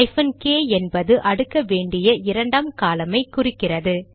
hyphen K என்பது அடுக்க வேண்டிய இரண்டாம் காலம் ஐ குறிக்கிறது